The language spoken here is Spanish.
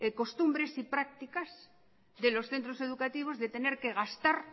costumbres y prácticas de los centros educativos de tener que gastar